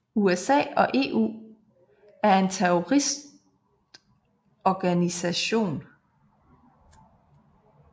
USA og EU for en terroristorganisation